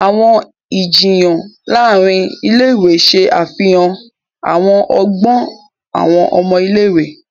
Awọn ijiyan láàrin ilé-ìwé ṣe àfihàn àwọn ọgbọn awọn ọmọ ilé-ìwé.